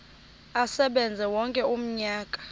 asebenze wonke umnyaka